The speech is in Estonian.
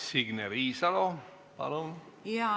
Signe Riisalo, palun!